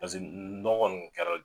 Pase nɔgɔ kɔni kɛra.